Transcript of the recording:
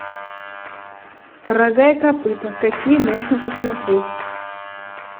рога и копыта какие можно посмотреть